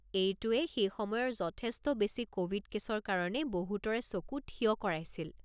এইটোৱে সেই সময়ৰ যথেষ্ট বেছি ক'ভিড কে'ছৰ কাৰণে বহুতৰে চকু ঠিয় কৰাইছিল।